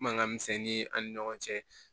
Mankan misɛnnin an ni ɲɔgɔn cɛ